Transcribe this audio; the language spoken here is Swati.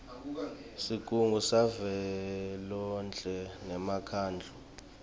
sigungu savelonkhe nemkhandlu